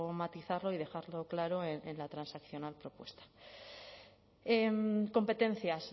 matizarlo y dejarlo claro en la transaccional propuesta competencias